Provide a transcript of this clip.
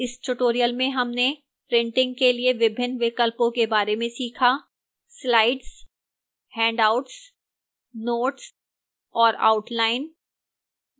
इस tutorial में हमने printing के लिए विभिन्न विकल्पों के बारे में सीखा: slides handouts notes और outline